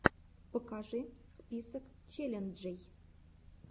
покажи список челленджей